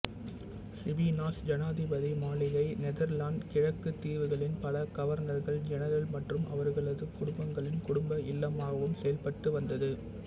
Cipanas ஜனாதிபதி மாளிகை Netherlands கிழக்குதீவுகளின் பல கவர்னர்கள்ஜெனரல் மற்றும் அவர்களது குடும்பங்களின் குடும்ப இல்லமாகவும் செயல்பட்டு வந்தது